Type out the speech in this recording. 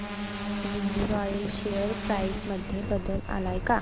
Uniroyal share price मध्ये बदल आलाय का